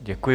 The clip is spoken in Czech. Děkuji.